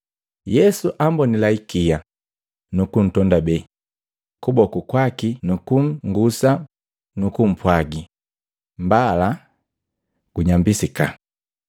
Yesu ambonila ikia, nukumtondabee kuboku kwaki nukungusa nukupwaagi, “Mbala! Gunyambisika.”